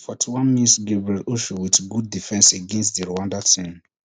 forty-one mins gabriel osho wit good defence against di rwanda team